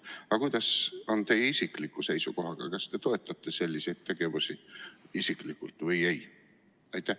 Aga kuidas on teie isikliku seisukohaga, kas te toetate selliseid tegevusi isiklikult või ei?